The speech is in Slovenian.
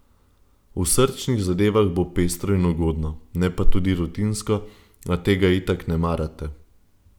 V srčnih zadevah bo pestro in ugodno, ne pa tudi rutinsko, a tega itak ne marate.